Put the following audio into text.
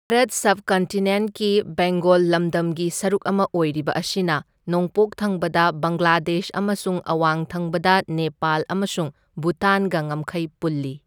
ꯁꯕꯀꯟꯇꯤꯅꯦꯟꯠꯀꯤ ꯕꯦꯡꯒꯣꯜ ꯂꯝꯗꯝꯒꯤ ꯁꯔꯨꯛ ꯑꯃ ꯑꯣꯏꯔꯤꯕ ꯑꯁꯤꯅ ꯅꯣꯡꯄꯣꯛ ꯊꯪꯕꯗ ꯕꯪꯒ꯭ꯂꯥꯗꯦꯁ ꯑꯃꯁꯨꯡ ꯑꯋꯥꯡ ꯊꯪꯕꯗ ꯅꯦꯄꯥꯜ ꯑꯃꯁꯨꯡ ꯚꯨꯇꯥꯟꯒ ꯉꯝꯈꯩ ꯄꯨꯜꯂꯤ꯫